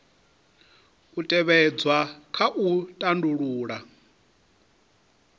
u tevhedzwa kha u tandulula